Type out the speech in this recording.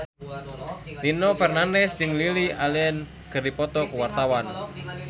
Nino Fernandez jeung Lily Allen keur dipoto ku wartawan